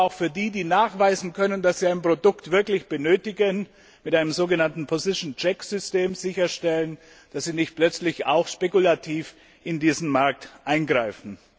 Wir wollen aber auch für die, die nachweisen können, dass sie ein Produkt wirklich benötigen, mit einem so genannten Position check System sicherstellen, dass sie nicht plötzlich auch spekulativ in diesen Markt eingreifen.